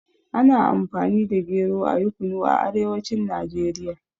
Ana Amfani da gero ayi Kunu a arewacin Najeriya.